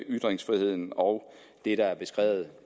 ytringsfriheden og det der er beskrevet